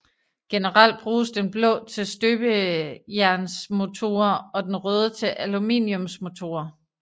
Generelt bruges den blå til støbejernsmotorer og den røde til aluminiumsmotorer